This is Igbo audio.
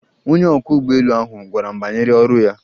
Onye ọkwọ ụgbọelu ahụ gwara m banyere ọrụ ya